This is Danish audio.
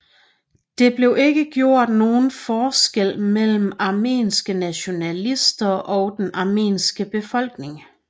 Det blev ikke gjort nogen forskel mellem armenske nationalister og den armenske befolkning